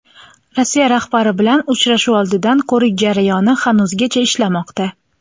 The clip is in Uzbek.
Rossiya rahbari bilan uchrashuv oldidan ko‘rik jarayoni hanuzgacha ishlamoqda.